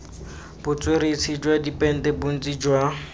botsweretshi jwa dipente bontsi jwa